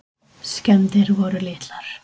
Skemmdir voru litlar.